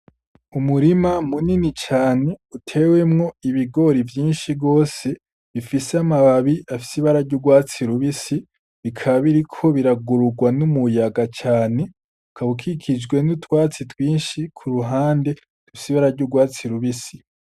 Umurima munini cane uteyemwo ibigori vyinshi gose, bifise amababi afise ibara ry'urwatsi rubisi, bikaba biriko biragururwa n'umuyaga cane, bikaba bikikijwe n'utwatsi twinshi ku ruhande, dufise ibara ry'urwatsi rubisi.